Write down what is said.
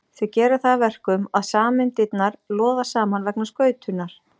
Þau gera það að verkum að sameindirnar loða saman vegna skautunar.